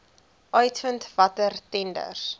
uitvind watter tenders